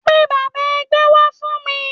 Pe bàbá ẹgbẹ́ wá fún mi